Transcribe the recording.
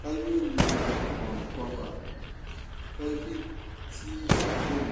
ka yɛ liiga kɔnkɔba ka ʒi tia gbuni.